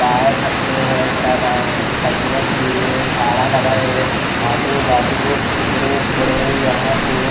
बाहर फतरे है टाटा साइकिले खड़ी हुई है झाड़ा लगाए हुए आजू बाजू बड़े बड़े यहां पे--